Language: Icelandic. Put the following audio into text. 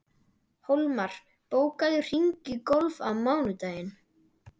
Hólmar, bókaðu hring í golf á mánudaginn.